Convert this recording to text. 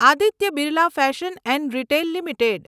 Aditya Birla fashion and retail limited